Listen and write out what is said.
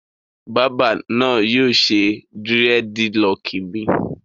Bábà náà yóò ṣe dírẹ́dilọọkì mi.